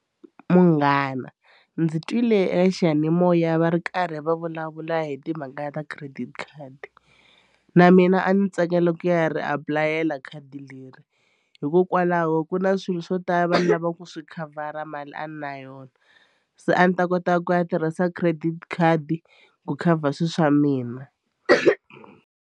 Munghana ndzi twile eka xiyanimoya va ri karhi va vulavula hi timhaka ta credit card na mina a ndzi tsakela ku ya ri apulayela khadi leri hikokwalaho ku na swilo swo tala ni lavaku swi khavhara mali a na yona se a ni ta kota ku ya tirhisa credit khadi ku khavha swilo swa mina.